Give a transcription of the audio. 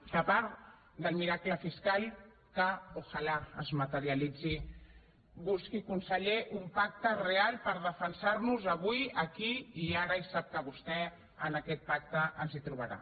que a part del miracle fiscal que tant de bo es materialitzi busqui conseller un pacte real per defensar nos avui aquí i ara i sap que vostè en aquest pacte ens hi trobarà